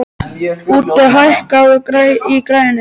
Úddi, hækkaðu í græjunum.